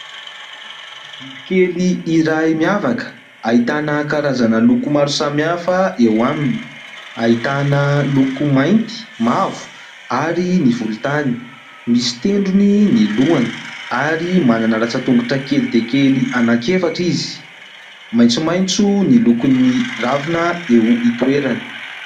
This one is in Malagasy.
Biby kely iray miavaka ahitana karazana loko maro samihafa eo aminy, ahitana loko mainty, mavo ary ny volontany, misy tendrony ny lohany ary manana ratsan-tongotro kely dia kely anankiefatra izy, maitsomaitso ny lokon'ny ravina eo hitoerany.